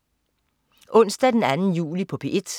Onsdag den 2. juli - P1: